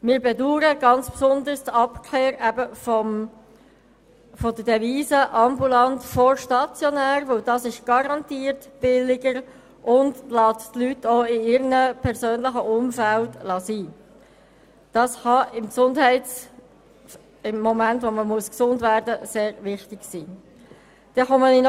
Insbesondere bedauern wir die Abkehr von der Devise «ambulant vor stationär», denn sie ist garantiert billiger und belässt die Leute in ihrem persönlichen Umfeld, was im Moment der Gesundung sehr wichtig sein kann.